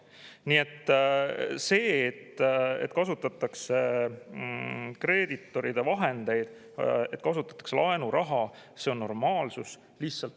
Nii et see, et kasutatakse kreeditoride vahendeid, et kasutatakse laenuraha, on normaalsus.